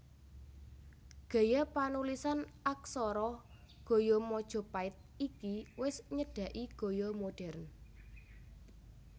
Gaya panulisan aksara gaya Majapait iki wis nyedhaki gaya modhèrn